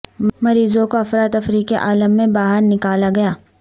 مریضوں کو افرا تفری کے عالم میں باہر نکالا گیا